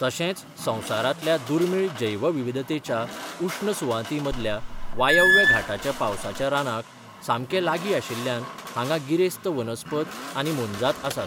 तशेंच संवसारांतल्या दुर्मिळ जैवविविधतेच्या उश्ण सुवातींमदल्या वायव्य घाटाच्या पावसाच्या रानांक सामके लागीं आशिल्ल्यान हांगा गिरेस्त वनस्पत आनी मोनजात आसात.